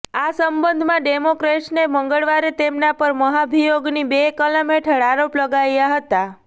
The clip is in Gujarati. આ સંબંધમાં ડેમોક્રેટ્સને મંગળવારે તેમના પર મહાભિયોગની બે કલમ હેઠળ આરોપ લગાવ્યા હતા